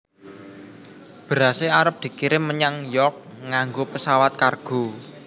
Berase arep dikirim menyang York nganggo pesawat kargo